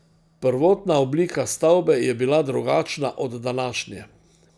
Prvotna oblika stavbe je bila drugačna od današnje.